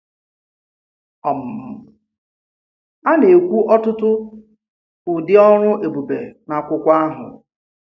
um A na-ekwù ọtụtụ̀ ụdị̀ ọrụ̀ èbùbè n’ákwùkwò àhụ̀.